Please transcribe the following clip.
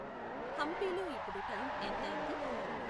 హంపీలో ఇప్పుడు టైం ఎంతయ్యింది